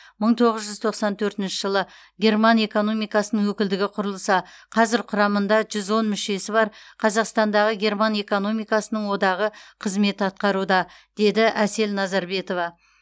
мың тоғыз жүз тоқсан төртінші жылы герман экономикасының өкілдігі құрылса қазір құрамында жүз он мүшесі бар қазақтандағы герман экономикасының одағы қызмет атқаруда деді әсел назарбетова